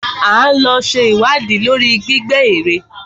A ó lọ ṣe ìwádìí lórí gbígbẹ́ èrè.